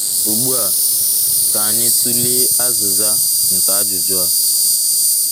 Ugbu a, ka anyị tụlee azịza nke ajụjụ a.